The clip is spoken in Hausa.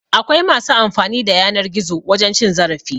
Akwai masu amfani da yanar gizo wajen cin zarafi